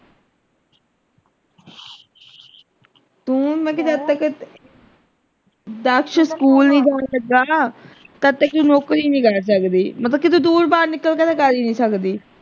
ਜਦ ਤੱਕ ਦਕਸ਼ school ਨਹੀਂ ਜਾਣ ਲੱਗਾ ਨਾ ਕਤਹਿ ਨੌਕਰੀ ਨਹੀਂ ਕਰ ਸਕਦੀ ਮਤਲਬ ਕਿਤੇ ਦੂਰ ਬਾਹਰ ਨਿਕਲ ਕੇ ਤੇ ਕਰ ਹੀ ਨਹੀਂ ਸਕਦੀ।